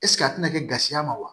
a tɛna kɛ gasiya ma wa